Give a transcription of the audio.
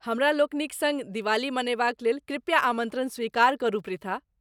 हमरालोकनिक सङ्ग दिवाली मनयबाक लेल कृपया आमन्त्रण स्वीकार करू पृथा।